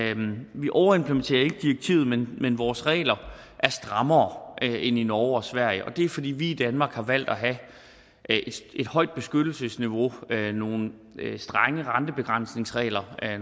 vi overimplementerer ikke direktivet men vores regler er strammere end i norge og sverige og det er fordi vi i danmark har valgt at have et højt beskyttelsesniveau nogle strenge rentebegrænsningsregler